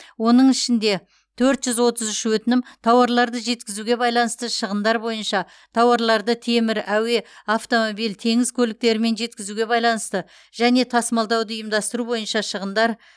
оның ішінде төрт жүз отыз үш өтінім тауарларды жеткізуге байланысты шығындар бойынша тауарларды темір әуе автомобиль теңіз көліктерімен жеткізуге байланысты және тасымалдауды ұйымдастыру бойынша шығындар